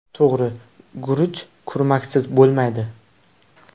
To‘g‘ri, guruch kurmaksiz bo‘lmaydi.